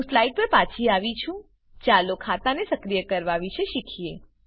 હું સ્લાઈડ પર પાછી આવી છું ચાલો ખાતાને સક્રિય કરવા વિશે શીખીએ